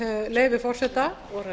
leyfi forseta